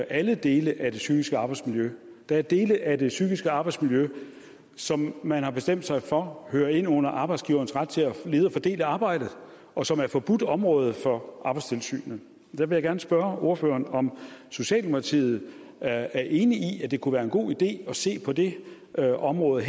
alle dele af det psykiske arbejdsmiljø der er dele af det psykiske arbejdsmiljø som man har bestemt sig for hører ind under arbejdsgiverens ret til at lede og fordele arbejdet og som er forbudt område for arbejdstilsynet der vil jeg gerne spørge ordføreren om socialdemokratiet er enig i at det kunne være en god idé at se på det her område